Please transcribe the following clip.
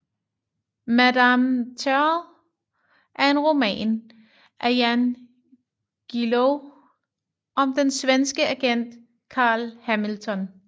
Madame Terror er en roman af Jan Guillou om den svenske agent Carl Hamilton